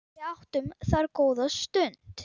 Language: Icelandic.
Við áttum þar góða stund.